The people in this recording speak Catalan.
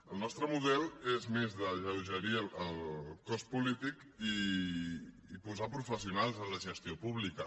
el nostre model és més d’alleugerir el cos polític i posar professionals en la gestió pública